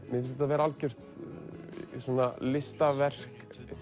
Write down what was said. mér finnst þetta vera algjört listaverk